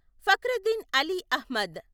Fakruddin Ali Ahmed